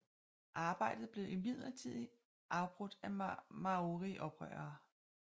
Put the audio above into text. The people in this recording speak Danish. Arbejdet blev imidlertid afbrudt af maorioprørere